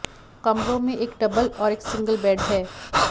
कमरों में एक डबल और एक सिंगल बेड है